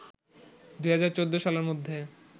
২০১৪ সালের মধ্যে